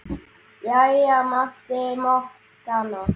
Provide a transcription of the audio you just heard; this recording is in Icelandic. Jæja mælti Monika.